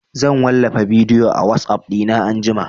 Zan wallafa bidiyo a WhatsApp ɗina anjima